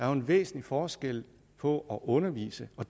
er en væsentlig forskel på at undervise og